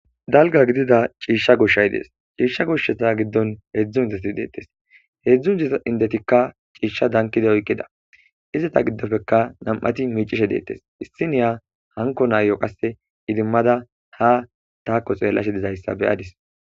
dalga gidida ciishsha goshshay dees ciishsha gushsheta giddon heedzdzu indetti deettes heedzdzu diza indetikka ciishsha dankide oyqqida izata giddofeka nam'ati miicishe deettes issiniya hanko naayo qasse idimmada ha taako xeellashe dizayssa beyadis